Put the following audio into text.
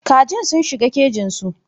Kajin sun shiga cikin kejinsu.